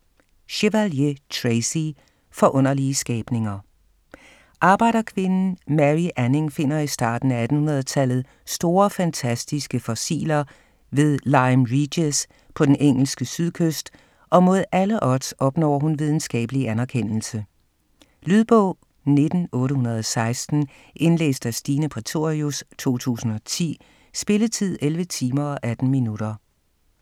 Chevalier, Tracy: Forunderlige skabninger Arbejderkvinden Mary Anning finder i starten af 1800-tallet store fantastiske fossiler ved Lyme Regis på den engelske sydkyst og mod alle odds opnår hun videnskabelig anerkendelse. Lydbog 19816 Indlæst af Stine Prætorius, 2010. Spilletid: 11 timer, 18 minutter.